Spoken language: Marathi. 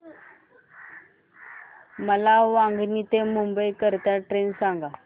मला वांगणी ते मुंबई करीता ट्रेन सांगा